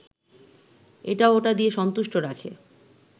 এটা ওটা দিয়ে সন্তুষ্ট রাখে